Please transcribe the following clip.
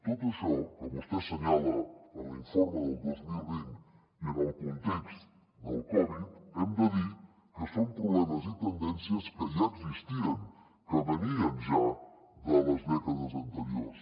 tot això que vostè assenyala en l’informe del dos mil vint i en el context del covid hem de dir que són problemes i tendències que ja existien que venien ja de les dècades anteriors